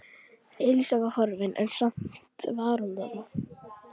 Elísa var horfin en samt var hún þarna.